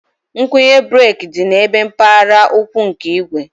Ngwunye breeki dị ebe mpaghara ụkwụ nke igwe